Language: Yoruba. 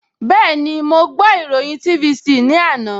Bẹ́ẹ̀ni, mo ìròyìn TVC ní àná